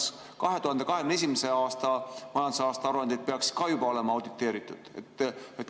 Kas 2021. aasta majandusaasta aruandeid peaks ka juba olema auditeeritud?